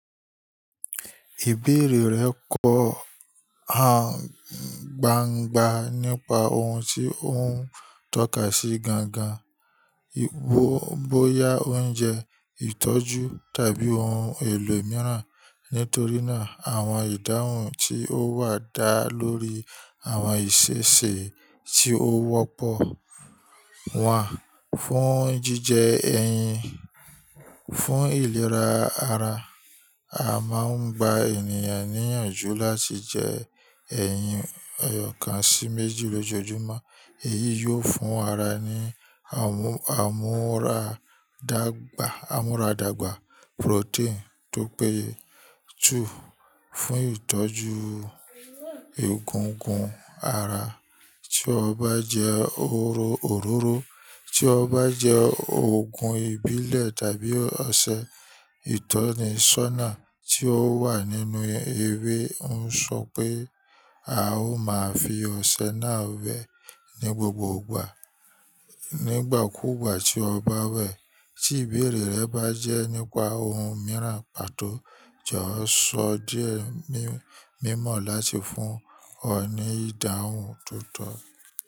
Ìbéèrè rẹ kọ̀ gbangban nípa ohun tí ó ń tọ́ka sí gangan. Bóyá oúnjẹ, ìtọ́jú tàbí ohun èlò mìíràn. Nítorí náà, àwọn ìdáhùn tí ó wà dá lórí àwọn ìṣe ṣe tí ó wọ́pọ̀ wá fún jíjẹ ẹyin. Fún ìlera ara, a máa ń gba ènìyàn níyànjú láti jẹ ẹyin ọ̀kan sí méjì lójoojúmọ́. Èyí yóò fún ara ní àmúradàgbà, àmúradàgbà protein tó péye two fún ìtọ́jú egungun ara. Tí o bá jẹ òróró, tí o bá jẹ òògùn ìbílẹ̀ tàbí ọṣẹ, ìtọ́ni ṣónà tí ó wà nínú ewé ń sọ pé a ó máa fi ọṣẹ náà wẹ̀ ní gbogbo ìgbà. Nígbà kúùgbà tí o bá wẹ̀, tí ìbéèrè rẹ bá jẹ́ nípa ohun mìíràn pàtó, jọ̀wọ́ sọ díẹ̀ mímọ̀ láti fún ọ ní ìdáhùn tó tọ́.